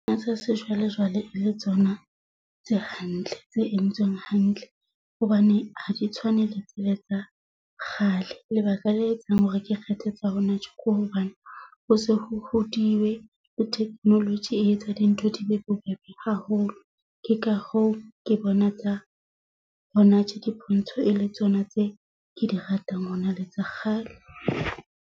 Tsa sejwalejwale e le tsona tse hantle, tse entsweng hantle hobane ha di tshwane le tsele tsa kgale. Lebaka le etsang hore ke kgethe tsa hona tje ke hobane ho se ho hodiwe le technology e etsa dintho di be bobebe haholo. Ke ka hoo ke bona tsa hona tje di pontsho e le tsona tse ke di ratang, hona le tsa kgale.